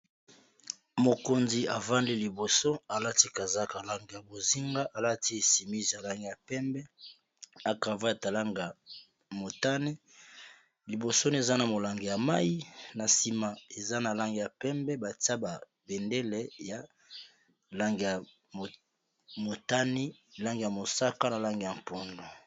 Mokonzi avandi liboso alati kazaka lange ya bozinga alati esimise ya lange ya pembe acava yatalange ya motani libosoni eza na molange ya mai na nsima eza na lange ya pembe batia babendele ya lange ya motani lange ya mosaka na lange ya mponlo